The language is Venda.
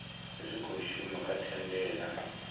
tshi khou shuma kha thandela